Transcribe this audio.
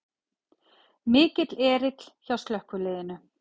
Mikill erill hjá slökkviliðinu